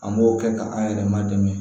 An b'o kɛ ka an yɛrɛ man dɛmɛ